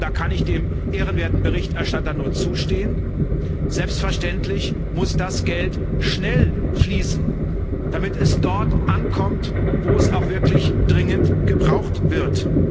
Aber und da kann ich dem ehrenwerten Berichterstatter nur zustimmen selbstverständlich muss das Geld schnell fließen, damit es dort ankommt, wo es auch wirklich dringend gebraucht wird.